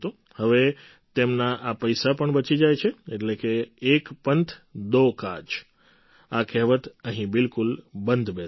હવે તેમના આ પૈસા પણ બચી જાય છે એટલે કે એક પંથ દો કાજ આ કહેવત અહીં બિલકુલ બંધ બેસે છે